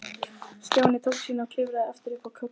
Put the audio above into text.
Stjáni tók sína og klifraði aftur upp í kojuna.